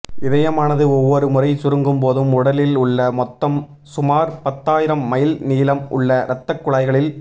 இதயமானது ஒவ்வொரு முறை சுருங்கும்போதும் உடலில் உள்ள மொத்தம் சுமார் பத்தாயிரம் மைல் நீளம் உள்ள ரத்தக் குழாய்களில்